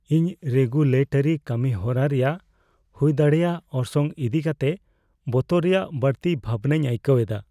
ᱤᱧ ᱨᱮᱜᱩᱞᱮᱴᱚᱨᱤ ᱠᱟᱹᱢᱤᱦᱚᱨᱟ ᱨᱮᱭᱟᱜ ᱦᱩᱭᱫᱟᱲᱮᱭᱟᱜ ᱚᱨᱥᱚᱝ ᱤᱫᱤ ᱠᱟᱛᱮ ᱵᱚᱛᱚᱨ ᱨᱮᱭᱟᱜ ᱵᱟᱹᱲᱛᱤ ᱵᱷᱟᱵᱽᱱᱟᱧ ᱟᱹᱭᱠᱟᱹᱣ ᱮᱫᱟ ᱾